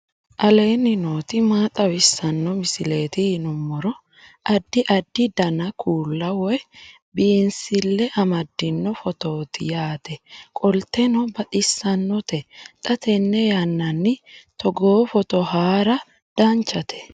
aleenni nooti maa xawisanno misileeti yinummoro addi addi dananna kuula woy biinsille amaddino footooti yaate qoltenno baxissannote xa tenne yannanni togoo footo haara danchate